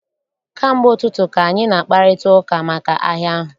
Kamgbe ụtụtụ ka anyị na-akparịta ụka maka ahịa ahụ.